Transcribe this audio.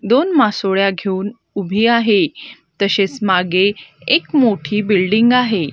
दोन मासोळ्या घेऊन उभी आहे तसेच मागे एक मोठी बिल्डिंग आहे.